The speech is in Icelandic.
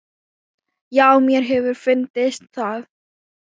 Já, mér hefur fundist það.